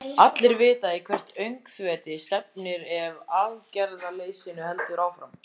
Allir vita í hvert öngþveiti stefnir ef aðgerðarleysinu heldur áfram.